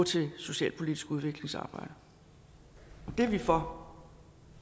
til socialpolitisk udviklingsarbejde og det er vi for